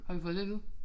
Har vi fået det at vide